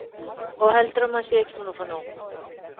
Og heldurðu að maður sé ekki búinn að fá nóg?